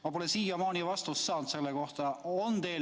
Ma pole siiamaani saanud selle kohta vastust.